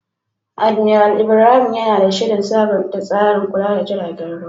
Admiral Ibrahim yana da shirin sabunta tsarin kula da jiragen ruwa.